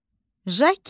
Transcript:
Jaket.